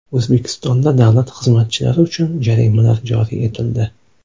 O‘zbekistonda davlat xizmatchilari uchun jarimalar joriy etildi.